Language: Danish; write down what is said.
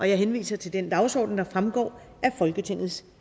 jeg henviser til den dagsorden der fremgår af folketingets